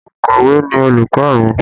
Ònkọ̀wé ni olùkọ́ mi